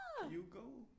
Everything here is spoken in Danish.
You go